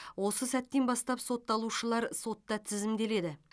осы сәттен бастап сотталушылар сотта тізімделеді